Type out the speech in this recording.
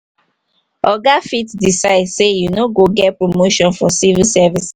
oga fit decide sey you no go get promotion for civil service